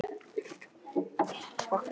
Þar kom hún fyrir stöng sem hún lagði þær yfir.